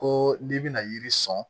Ko n'i bɛna yiri sɔn